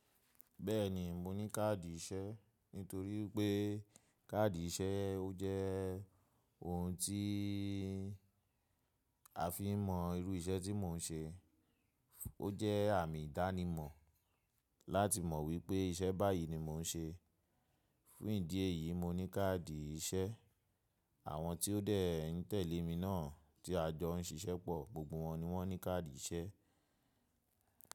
Bẹ́ẹ̀ni, mo ní káàdì iṣẹ́, nítorí pé káàdì iṣẹ́ ó jẹ́ ohun tí a fi ń mọ irú iṣẹ́ tí mò ń ṣe. Ó jẹ́ àmì ìdánimọ̀ láti mọ̀ wípé iṣẹ́ báyìí ni mò ń ṣe. Fún ìdí èyí, mo ní káàdì iṣẹ́. Àwọn tí ó dẹ̀ ń tẹ̀lé mi náà tí a jọ ń ṣiṣẹ́ pọ̀, gbogbo wọn ni wọ́n ní káàdì iṣẹ́.